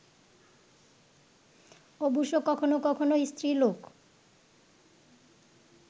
অবশ্য কখন কখন স্ত্রীলোক